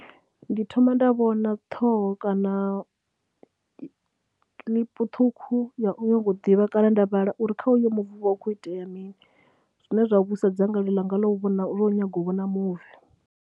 Ndi thoma nda vhona ṱhoho kana clip ṱhukhu ya u nyago u ḓivha kana nda vhala uri kha uyo muvi hu vha hu khou itea mini, zwine zwa vhuisa dzangalelo ḽanga ḽa u vhona, ḽa u nyaga u vhona muvi.